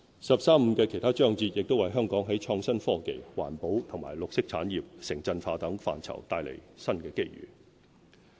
"十三五"的其他章節亦為香港在創新科技、環保和綠色產業、城鎮化等範疇帶來新機遇。